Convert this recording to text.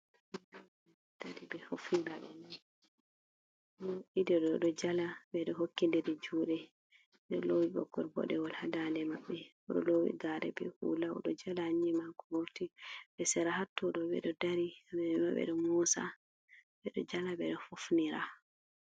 Himɓe ɗo ɓorni kareji ɗiɗo ɗo jala ɓeɗo hokki ndiri juɗe, ɗo lowi ɓoggol bodewol ha dande maɓɓe, ɗon lowi gare be hula, oɗo jala nyiema ko vurti, ɓe sera ha to ɗo ɓeɗo dari ɓeɗo mosa ɓeɗo jala ɓeɗo hofnira.